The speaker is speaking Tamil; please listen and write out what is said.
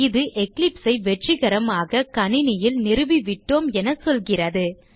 இது eclipse ஐ வெற்றிகரமாக கணினியில் நிறுவிவிட்டோம் என சொல்கிறது